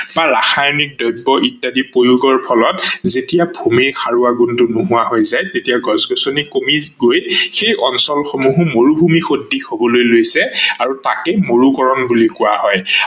বা ৰাসায়নিক দ্ৰ্ব্য প্ৰয়োগৰ ফলত যেতিয়া ভূমিৰ সাৰোৱা গুণটো নোহোৱা হৈ যায় তেতিয়া গছ-গছ্নি কমি গৈ সেই অঞ্চল সমূহো মৰুভূমি সদৃশ হবলৈ লৈছে আৰু তাকেই মৰুকৰন বুলি কোৱা হয়।